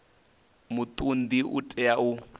muṱun ḓi u tea u